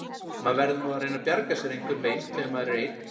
Maður verður nú að reyna að bjarga sér einhvern veginn þegar maður er einn.